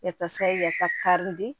Yata yasa ka di